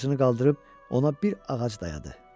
Dora ağacını qaldırıb ona bir ağac dayadı.